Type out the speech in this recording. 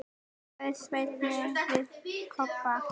sagði Svenni við Kobba.